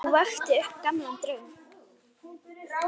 Og vakti upp gamlan draum.